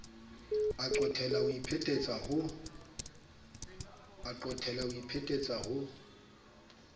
a qophella ho iphetetsa ho